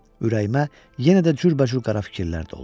Ürəyimə yenə də cürbəcür qara fikirlər doldu.